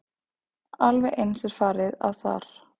Alveg eins er farið að þar.